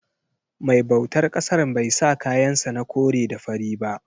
Mai bautar ƙasan bai sa kayan sa na kore da fari ba.